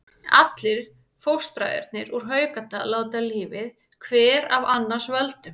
Allir fóstbræðurnir úr Haukadal láta lífið, hver af annars völdum.